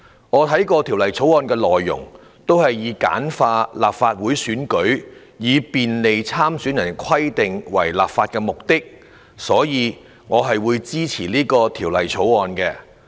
我看過《條例草案》的內容，也是以簡化立法會選舉及便利參選人的規定為立法目的，所以我會支持《條例草案》。